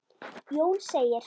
Jón segir: